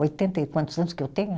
Oitenta e quantos anos que eu tenho?